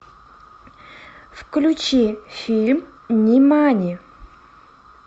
включи фильм нимани